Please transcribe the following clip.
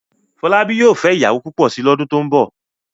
Fọlábí yóò fẹ́ ìyàwó púpọ̀ si lọ́dún tó ń bọ̀.